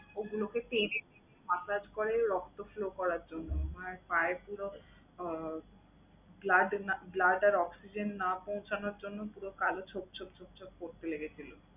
ওগুলোকে টেনে টেনে massage করে রক্ত flow করার জন্য। মায়ের পায়ের যে রক উহ blood না blood আর oxygen না পৌঁছানোর জন্য পুরো কালো ছোপ ছোপ ছোপ ছোপ spot ফেলে গেছিলো।